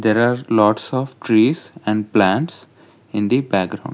there are lots of trees and plants in the background.